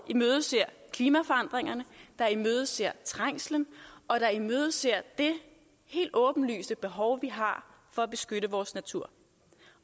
imødeser klimaforandringerne imødeser trængslen og imødeser det helt åbenlyse behov vi har for at beskytte vores natur